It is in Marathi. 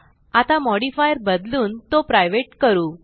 आता मॉडिफायर बदलून तो प्रायव्हेट करू